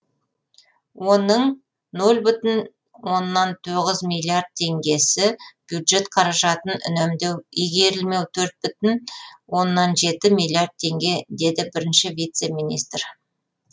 оның нөл бүтін оннан тоғыз миллиард теңгесі бюджет қаражатын үнемдеу игерілмеу төрт бүтін оннан жеті миллиард теңге деді бірінші вице премьер